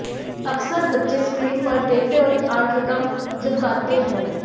अकसर बच्चे स्क्रीन पर देखते वक्त आंखें कम झपकाते हैं